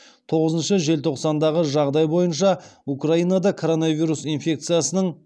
тоғызыншы желтоқсандағы жағдай бойынша украинада коронавирус инфекциясының